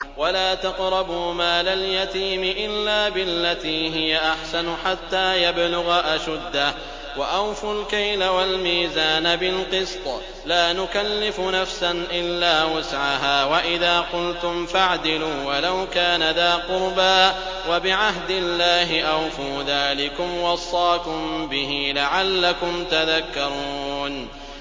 وَلَا تَقْرَبُوا مَالَ الْيَتِيمِ إِلَّا بِالَّتِي هِيَ أَحْسَنُ حَتَّىٰ يَبْلُغَ أَشُدَّهُ ۖ وَأَوْفُوا الْكَيْلَ وَالْمِيزَانَ بِالْقِسْطِ ۖ لَا نُكَلِّفُ نَفْسًا إِلَّا وُسْعَهَا ۖ وَإِذَا قُلْتُمْ فَاعْدِلُوا وَلَوْ كَانَ ذَا قُرْبَىٰ ۖ وَبِعَهْدِ اللَّهِ أَوْفُوا ۚ ذَٰلِكُمْ وَصَّاكُم بِهِ لَعَلَّكُمْ تَذَكَّرُونَ